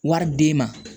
Wari d'e ma